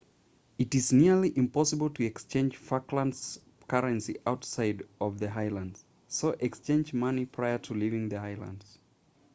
it is nearly impossible to exchange falklands currency outside of the islands so exchange money prior to leaving the islands